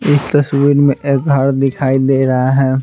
इस तस्वीर में एक घर दिखाई दे रहा है।